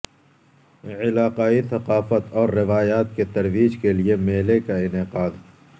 علاقائی ثقافت اور روایات کی ترویج کےلیے میلے کا انعقاد